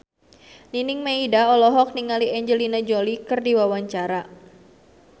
Nining Meida olohok ningali Angelina Jolie keur diwawancara